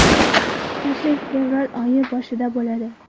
Tashrif fevral oyi boshida bo‘ladi.